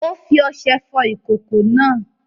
Ó fí oṣe fò ìkòkò náà